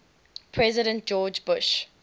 president george bush